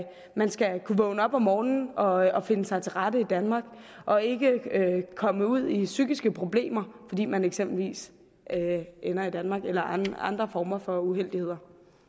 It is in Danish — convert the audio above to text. man skal kunne vågne op om morgenen og finde sig til rette i danmark og ikke komme ud i psykiske problemer fordi man eksempelvis ender i danmark eller andre andre former for uheldigheder